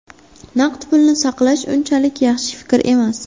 Naqd pulni saqlash unchalik yaxshi fikr emas.